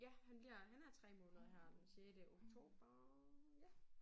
Ja han bliver han er 3 måneder her den sjette oktober ja